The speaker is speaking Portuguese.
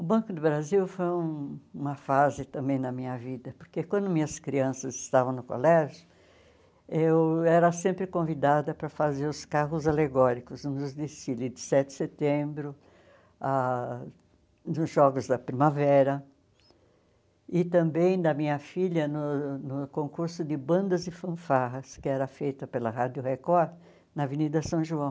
O Banco do Brasil foi uma fase também na minha vida, porque quando minhas crianças estavam no colégio, eu era sempre convidada para fazer os carros alegóricos nos desfiles de sete de setembro, ah nos Jogos da Primavera, e também da minha filha no no concurso de bandas e fanfarras, que era feito pela Rádio Record na Avenida São João.